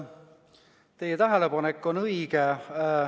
Teie tähelepanek on õige.